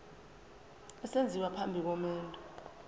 esenziwa phambi komendo